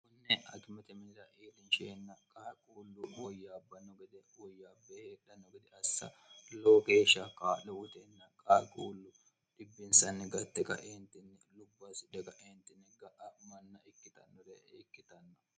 unne akimete minira iilinsheenna qaaquullu ooyyaabbanno gede uoyyaabba heedhanno gede assa loo geeshsha kaa'le oteenna qaaquullu dibbinsanni gatte qaeentinni lubbaasi dagaeentinni ga'a manna ikkitannore ikkitanno